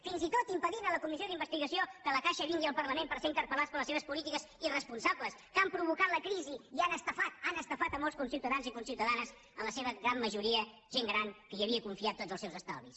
fins i tot impedint a la comissió d’investigació que la caixa vingui al parlament per ser interpel·irresponsables que han provocat la crisi i han estafat han estafat molts conciutadans i conciutadanes en la seva gran majoria gent gran que hi havia confiat tots els seus estalvis